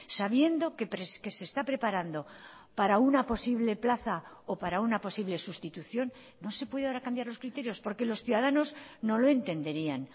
sabiendo que se está preparando para una posible plaza o para una posible sustitución no se puede ahora cambiar los criterios porque los ciudadanos no lo entenderían